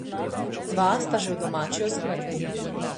Dva sta že v domači oskrbi.